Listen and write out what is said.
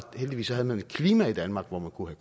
heldigvis havde et klima i danmark hvor man kunne